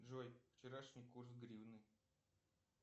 джой вчерашний курс гривны